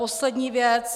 Poslední věc.